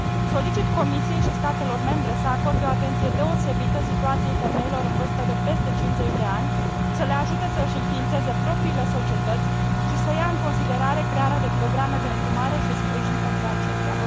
Solicit Comisiei și statelor membre să acorde o atenție deosebită situației femeilor în vârstă de peste 50 de ani, să le ajute să își înființeze propriile societăți și să ia în considerare crearea de programe de îndrumare și sprijin pentru acestea.